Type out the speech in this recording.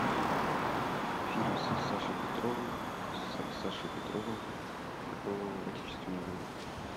фильм с сашей петровой с сашей петровым про отечественную войну